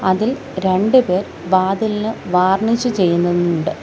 അതിൽ രണ്ട് പേർ വാതിലിന് വാർണിഷ് ചെയ്യുന്നുണ്ട്.